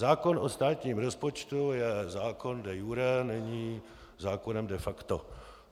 Zákon o státním rozpočtu je zákon de iure, není zákonem de facto.